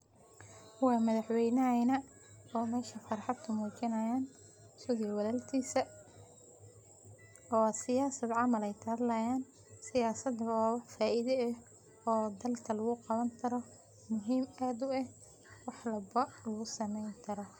Waa madaxwenahayna oo meshan farxad kumujinayan asag iyo walalkisa, oo siyasad camal ayay kahadlayan, siyasad oo faida eh oo dalka lagu qabani karo muhim ad ueh wax walbo lagu sameyni karo.